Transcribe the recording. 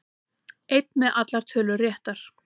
Einn með allar tölur réttar